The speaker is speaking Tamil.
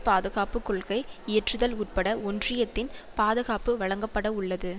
பாதுகாப்பு கொள்கை இயற்றுதல் உட்பட ஒன்றியத்தின் பாதுகாப்பு வழங்கப்பட உள்ளது